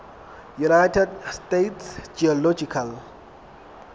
united states geological